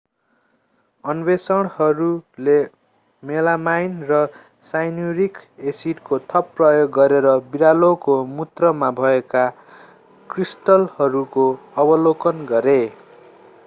अन्वेषकहरूले melamine र cyanuric एसिडको थप प्रयोग गरेर बिरालोको मूत्रमा भएका क्रिस्टलहरूको अवलोकन गरे